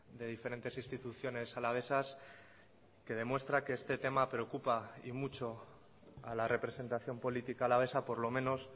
de diferentes instituciones alavesas que demuestra que este tema preocupa y mucho a la representación política alavesa por lo menos